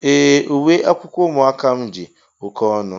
Ee, uwe akwụkwọ ụmụaka m dị oké ọnụ